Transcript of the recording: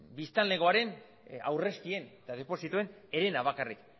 biztanlegoaren aurrezkien eta deposituen herena bakarrik